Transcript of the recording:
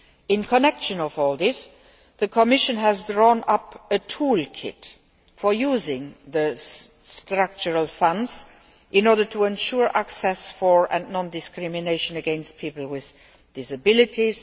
In this regard, the Commission has drawn up a tool kit for using the Structural Funds in order to ensure access for, and non discrimination against, people with disabilities.